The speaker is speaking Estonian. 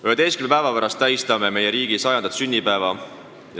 11 päeva pärast tähistame meie riigi 100. sünnipäeva.